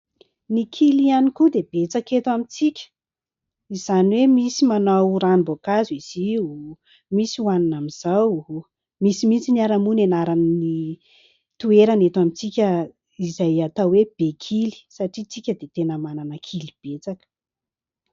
Ny kily ihany koa dia betsaka et amintsika. Izany hoe misy manao ranom-boankazo izy io, misy hoanina amin'izao, misy mihitsy ary moa anaran'ny toerana eto amintsika izay atao hoe Bekily satria isika dia tena manana kily betsaka.